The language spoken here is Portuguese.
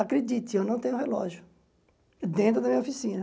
Acredite, eu não tenho relógio dentro da minha oficina.